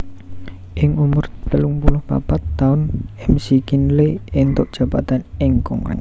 Ing umur telung puluh papat taun McKinley entuk jabatan ing Kongrès